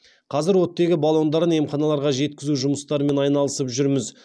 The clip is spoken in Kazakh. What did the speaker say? қазір оттегі баллондарын емханаларға жеткізу жұмыстарымен айналысып жүрміз